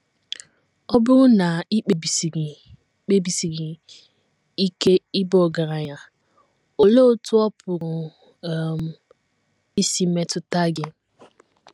Ọ um Bụrụ na I Kpebisiri Kpebisiri Ike Ịba Ọgaranya Olee Otú Ọ Pụrụ um Isi Metụta Gị?